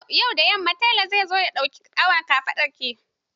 Yau da yamma tela zai zo ya ɗauki awon kafaɗarki.